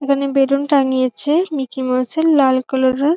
এখানে বেলুন টাঙ্গিয়েছে Mickey Mouse -এর লাল কালারের ।